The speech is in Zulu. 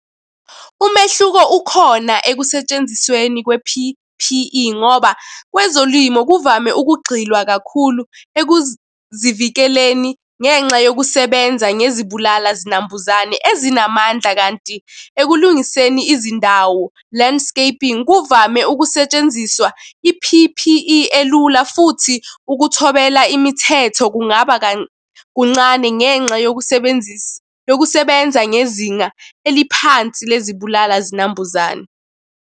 Umehluko ukhona ekusentshenzisweni kwe-P_P_E, ngoba kwezolimo kuvame ukugxilwa kakhulu ekuzivikeleni ngenxa yokusebenza ngezibulala zinambuzane ezinamandla, kanti ekulungiseni izindawo, landscaping kuvame ukusetshenziswa i-P_P_E elula, futhi ukuthobela imithetho kungaba kuncane ngenxa yokusebenzisa, yokusebenza ngezinga eliphansi lezi bulala zinambuzane.